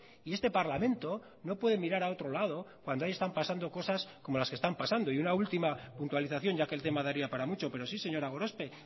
y este parlamento no puede mirar a otro lado cuando ahí están pasando cosas como las que están pasando y una última puntualización ya que el tema daría para mucho pero sí señora gorospe